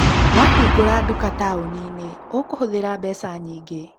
Wahingũra nduka taũni-inĩ, ũkũhũthĩra mbeca nyingĩ.